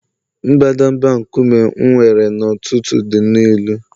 mbadamba nkume m were n’ụtụtụ dị nnọọ ilu